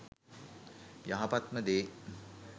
යහපත්ම දේ